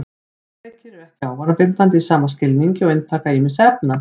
Tölvuleikir eru ekki vanabindandi í sama skilningi og inntaka ýmissa efna.